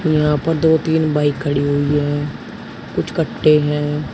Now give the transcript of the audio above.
यहां पर दो तीन बाइक खड़ी हुई हैं कुछ कट्टे है।